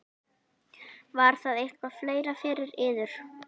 Var það eitthvað fleira fyrir yður?